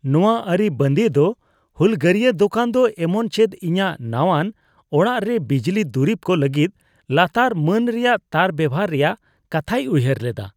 ᱱᱚᱣᱟ ᱟᱹᱨᱤᱵᱟᱸᱫᱤᱭ ᱫᱚ ᱦᱩᱞᱜᱟᱹᱨᱤᱭᱟ ᱫᱳᱠᱟᱱ ᱫᱚ ᱮᱢᱚᱱᱪᱮᱫ ᱤᱧᱟᱹᱜ ᱱᱟᱣᱟᱱ ᱚᱲᱟᱜ ᱨᱮ ᱵᱤᱡᱽᱞᱤ ᱫᱩᱨᱤᱵ ᱠᱚ ᱞᱟᱹᱜᱤᱫ ᱞᱟᱛᱟᱨ ᱢᱟᱹᱱ ᱨᱮᱭᱟᱜ ᱛᱟᱨ ᱵᱮᱣᱦᱟᱨ ᱨᱮᱭᱟᱜ ᱠᱟᱛᱷᱟᱭ ᱩᱭᱦᱟᱹᱨ ᱞᱮᱫᱟ ᱾